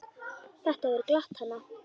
Þetta hefur glatt hana.